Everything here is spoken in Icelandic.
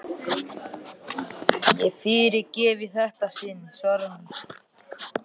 Ég fyrirgef í þetta sinn, svarar hún.